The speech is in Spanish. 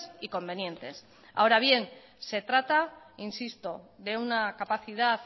y convenientes ahora bien se trata insisto de una capacidad